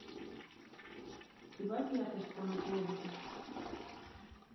прибавь яркость в комнате отдыха